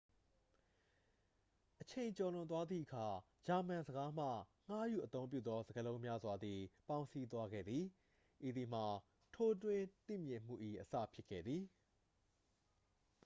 အချိန်ကျော်လွန်သွားသည့်အခါ ဂျာမန်ဘာသာစကားမှ ငှားယူအသုံးပြုသော စကားလုံးများစွာသည် ပေါင်းစည်းသွားခဲ့သည် ဤသည်မှာ ထိုးထွင်းသိမြင်မှု၏ အစဖြစ်ခဲ့သည်